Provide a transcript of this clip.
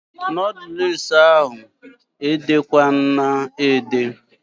Noodules ahụ ede kwana ede!